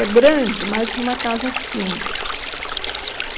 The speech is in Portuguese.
É grande, mas uma casa simples.